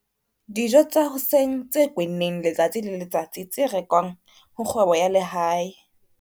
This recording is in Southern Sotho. Dijo tsa hoseng tse kwenneng letsatsi le letsatsi tse rekwang ho kgwebo ya lehae.